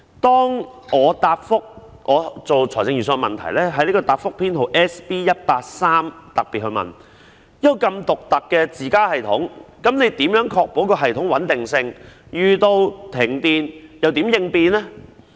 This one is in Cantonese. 當我就財政預算案擬備問題時，在答覆編號 SB183 特別問到，一個如此獨特的"自家"系統，如何確保系統的穩定性，在遇上停電時會如何應變呢？